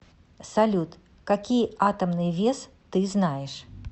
салют какие атомный вес ты знаешь